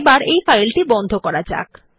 এখন এই ফাইলটি বন্ধ করা যাক